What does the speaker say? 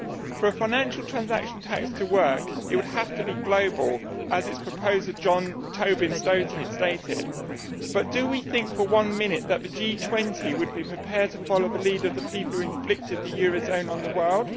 For a financial transaction tax to work, it would have to be global, as its proposer, James Tobin, stated, but do we think for one minute that the G20 would be prepared to follow the lead of the people who inflicted the euro area on the world?